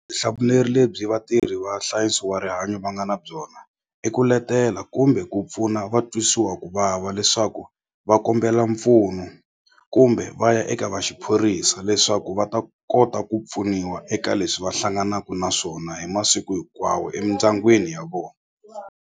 lebyi vatirhi va nhlayiso wa rihanyo va nga na byona i ku letela kumbe ku pfuna va twisiwa ku vava leswaku va kombela mpfuno kumbe va ya eka va xiphorisa leswaku va ta kota ku pfuniwa eka leswi va hlanganaku na swona hi masiku hinkwawo emindyangwini ya vona.